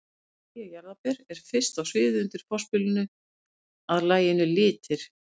MÆJA JARÐARBER er fyrst á sviðið undir forspilinu að laginu Litir.